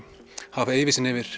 hafa yfirsýn yfir